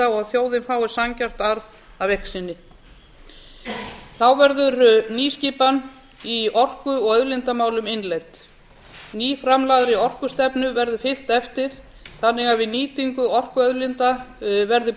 og þjóðin fái sanngjarnan arð af eign sinni þá verður nýskipan í orku og auðlindamálum innleidd ný nýframlagðri orkustefnu verður fylgt eftir þannig að við nýtingu orkuauðlinda verði